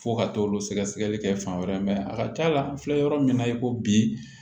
Fo ka t'olu sɛgɛsɛgɛli kɛ fan wɛrɛ mɛ a ka ca la n filɛ yɔrɔ min na i ko bi